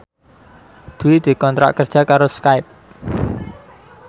Dwi dikontrak kerja karo Skype